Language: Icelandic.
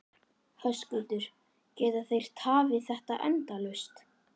Höskuldur: Geta þeir tafið þetta endalaust?